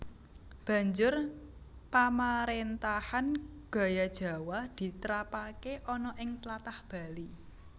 Banjur pamaréntahan gaya Jawa diterapake ana ing tlatah Bali